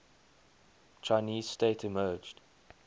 chinese state emerged